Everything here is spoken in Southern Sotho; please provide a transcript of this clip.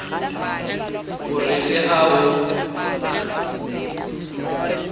o re le ha ho